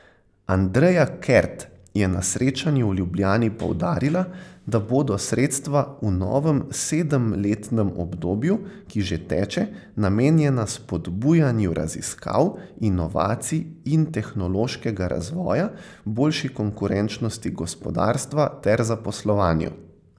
Andreja Kert je na srečanju v Ljubljani poudarila, da bodo sredstva v novem sedemletnem obdobju, ki že teče, namenjena spodbujanju raziskav, inovacij in tehnološkega razvoja, boljši konkurenčnosti gospodarstva ter zaposlovanju.